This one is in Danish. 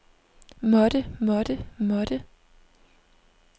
måtte måtte måtte